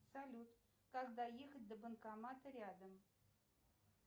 салют как доехать до банкомата рядом